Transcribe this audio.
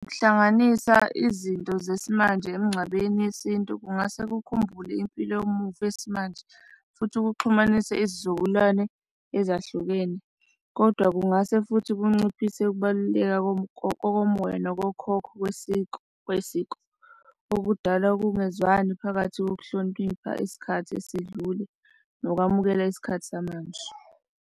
Ukuhlanganisa izinto zesimanje emngcwabeni yesintu kungase kukhumbule impilo yomuntu yesimanje futhi kuxhumanise isizukulwane ezahlukene. Kodwa kungase futhi kunciphise ukubaluleka kokomoya nokokhokha kosiko, kwesiko, okudala ukungezwani phakathi kokuhlonipha, isikhathi esidlule nokwamukela isikhathi samanje.